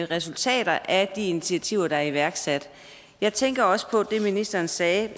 resultater af de initiativer der er iværksat jeg tænker også på det ministeren sagde